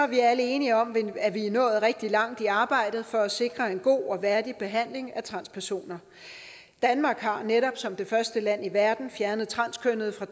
vi alle enige om at vi er nået rigtig langt i arbejdet for at sikre en god og værdig behandling af transpersoner danmark har netop som det første land i verden fjernet transkønnede fra